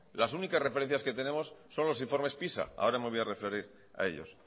las únicas referencias que tenemos son los informes pisa ahora me voy a referir a ellos